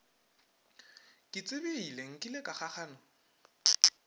ke tsebile nkile ka kgakgana